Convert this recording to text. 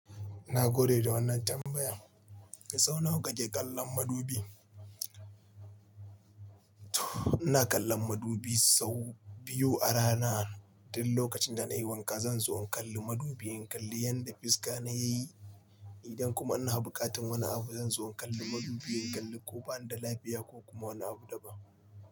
Na gode da wannan tambayan. Sau nawa kake kallon madubi? Ina kallon madubi sau biyu a rana. Duk lokacin da na yi wanka, zan zo in kalli madubin kalli yadda fiska na yayi. Idan kuma ina buƙatar wani abu, zan zo in kalli madubin kalli ko bani da lafiya ko kuma wani abu daban.